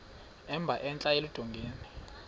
emba entla eludongeni